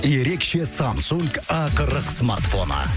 ерекше самсунг а қырық смартфоны